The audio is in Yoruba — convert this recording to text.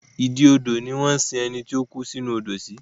Ìdí odò ni wọ́n ń sin ẹni tí ó kú sí inú Odò sí